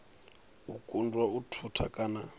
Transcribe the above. u kundwa u thusa kana